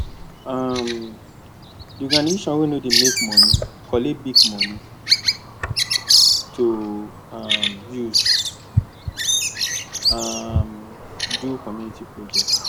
um the organization wey no dey make money collect big money to um use um m do community project